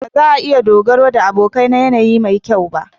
Ba za a iya dogaro da abokai na yanayi mai kyau ba.